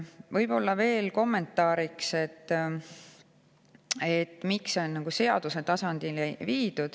Võib-olla veel kommentaariks, miks selline piirmäär on nüüd seaduse tasandil.